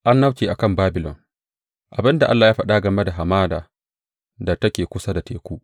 Annabci a kan Babilon Abin da Allah ya faɗa game da Hamada da take kusa da Teku.